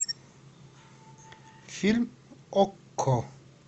фильм окко